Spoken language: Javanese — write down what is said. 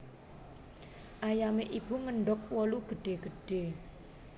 Ayame Ibu ngendog wolu gedhe gedhe